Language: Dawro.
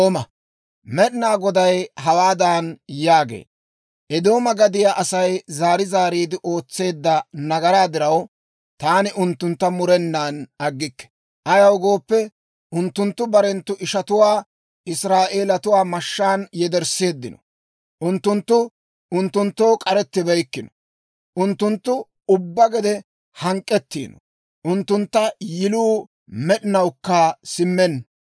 Med'inaa Goday hawaadan yaagee; «Eedooma gadiyaa Asay zaari zaariide ootseedda nagaraa diraw, taani unttuntta murennan aggikke. Ayaw gooppe, unttunttu barenttu ishatuwaa Israa'eelatuwaa mashshaan yedersseeddino; unttunttu unttunttoo k'arettibeykkino. Unttunttu ubbaa gede hank'k'ettiino; unttunttu yiluu med'inawukka simmenna.